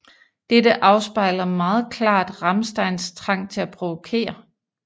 Dette afspejler meget klart Rammsteins trang til at provokere